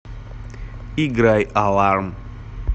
играй аларм